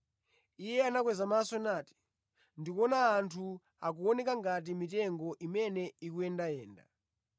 Iye anakweza maso nati, “Ndikuona anthu; akuoneka ngati mitengo imene ikuyendayenda.”